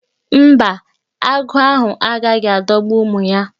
Mba, agụ́ ahụ agaghị adọgbu ụmụ ya.